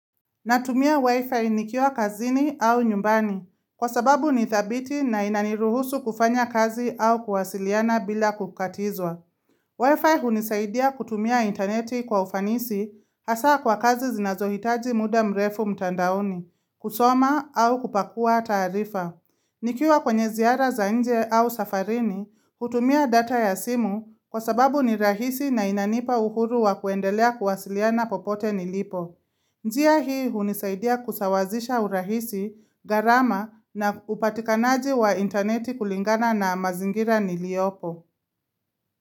Natumia wifi nikiwa kazini au nyumbani, kwa sababu nidhabiti na inaniruhusu kufanya kazi au kuwasiliana bila kukatizwa. Wifi hunisaidia kutumia interneti kwa ufanisi hasa kwa kazi zinazohitaji muda mrefu mtandaoni, kusoma au kupakua taarifa. Nikiwa kwenye ziara za nje au safarini, hutumia data ya simu kwa sababu ni rahisi na inanipa uhuru wa kuendelea kuwasiliana popote nilipo. Nzia hii hunisaidia kusawazisha urahisi, gharama na upatikanaji wa interneti kulingana na mazingira niliyopo.